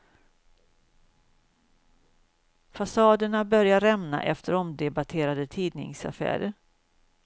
Fasaden börjar dock rämna efter omdebatterade tidningsaffärer.